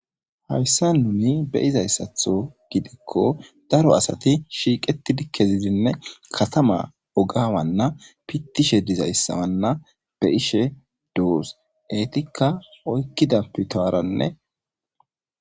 Haysa nuni be'izaysatho gidiko daro asati shiqeti kezidine katana oga Wana pitishe dizaysana be'ishe dos etika oykida pitarane